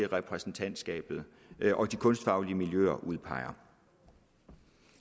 repræsentantskabet og de kunstfaglige miljøer udpeger